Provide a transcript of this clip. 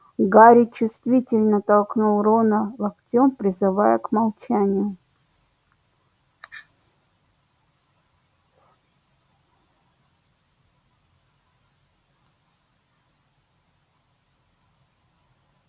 гарри чувствительно толкнул рона локтём призывая к молчанию